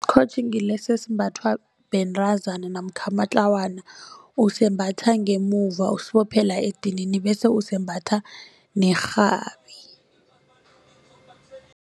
ngilesi esimbathwa bentazana namkha amatlawana usembatha ngemuva usiphophe la edinini bese usembatha nerhabi.